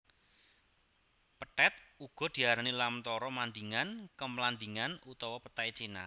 Pethèt uga diarani lamtoro mandingan kemlandingan utawa petai cina